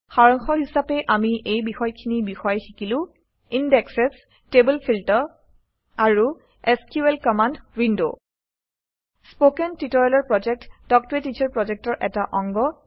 সাৰাংশ হিচাপে আমি এই বিষয়খিনিৰ বিষয়ে শিকিলো ইনডেক্সেচ টেবুল ফিল্টাৰ আৰু SQL command window spoken tutorial প্ৰকল্প তাল্ক ত a টিচাৰ প্ৰকল্পৰ এটা অংগ